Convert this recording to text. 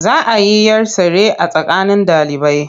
Za a yi 'yar tsere a tsakanin ɗalibai.